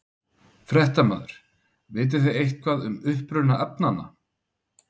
Fréttamaður: Vitið þið eitthvað um uppruna efnanna?